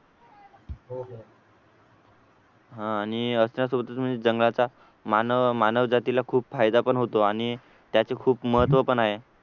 हा आणि अशा सोबतच म्हणजे जंगलाचा मानव मानव जातीला खूप फायदा पण होतो आणि त्याचे खूप महत्त्व पण आहे